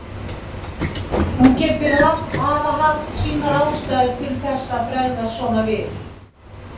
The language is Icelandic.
Hún getur hafa haft sínar ástæður til að bregðast svona við.